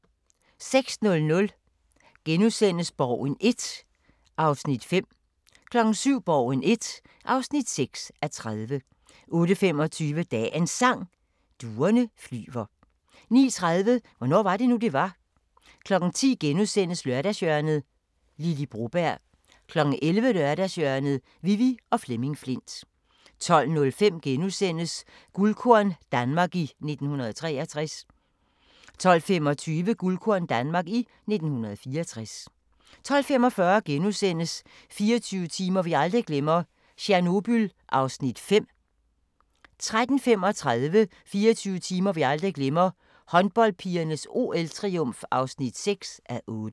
06:00: Borgen I (5:30)* 07:00: Borgen I (6:30) 08:25: Dagens Sang: Duerne flyver 09:30: Hvornår var det nu det var. 10:00: Lørdagshjørnet - Lily Broberg * 11:00: Lørdagshjørnet: Vivi og Flemming Flindt 12:05: Guldkorn - Danmark i 1963 * 12:25: Guldkorn - Danmark i 1964 12:45: 24 timer vi aldrig glemmer: Tjernobyl (5:8)* 13:35: 24 timer vi aldrig glemmer: Håndboldpigernes OL-triumf (6:8)